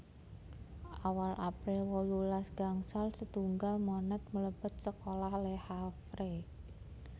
Awal April wolulas gangsal setunggal Monet mlebet sekolah Le Havre